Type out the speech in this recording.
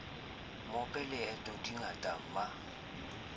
mope leto di ngata ma